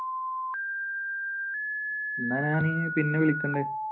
എന്നാ ഇനി പിന്നെ വിളിക്കുന്നുണ്ട്